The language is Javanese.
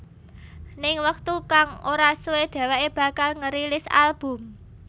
Ning wektu kang ora suwe dheweké bakal ngerilis album